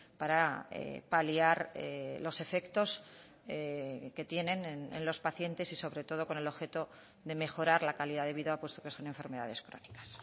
para paliar los efectos que tienen en los pacientes y sobre todo con el objeto de mejorar la calidad de vida puesto que son enfermedades crónicas